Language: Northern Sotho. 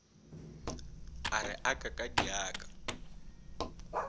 a re aka ka diaka